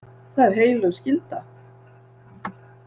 Það er heilög skylda.